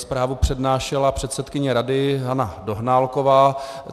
Zprávu přednášela předsedkyně rady Hana Dohnálková.